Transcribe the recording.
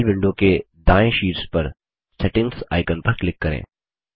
Gmail window के दाएँ शीर्ष पर सेटिंग्स आइकन पर क्लिक करें